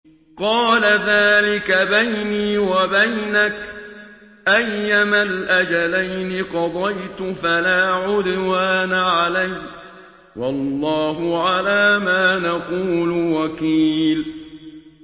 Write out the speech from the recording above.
قَالَ ذَٰلِكَ بَيْنِي وَبَيْنَكَ ۖ أَيَّمَا الْأَجَلَيْنِ قَضَيْتُ فَلَا عُدْوَانَ عَلَيَّ ۖ وَاللَّهُ عَلَىٰ مَا نَقُولُ وَكِيلٌ